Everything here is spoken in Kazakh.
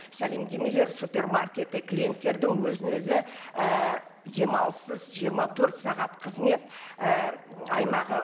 сәлемдемелер супермаркеті клиенттердің өзін өзі і демалыссыз жиырма төрт сағат қызмет і аймағы